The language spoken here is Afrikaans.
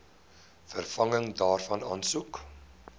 vervanging daarvan aansoek